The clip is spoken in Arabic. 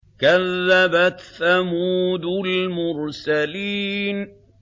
كَذَّبَتْ ثَمُودُ الْمُرْسَلِينَ